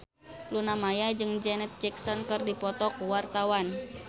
Luna Maya jeung Janet Jackson keur dipoto ku wartawan